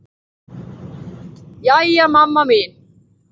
Jæja, mamma mín.